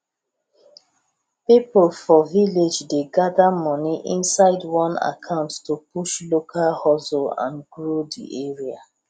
people for village dey gather money inside one account to push local hustle and grow the area